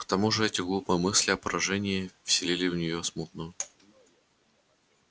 к тому же эти глупые мысли о поражении вселили в неё смутную